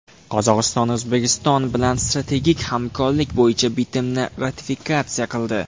Qozog‘iston O‘zbekiston bilan strategik hamkorlik bo‘yicha bitimni ratifikatsiya qildi.